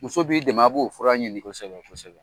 Muso b'i dɛmɛ a b'o fɔra ɲini kosɛbɛ kosɛbɛ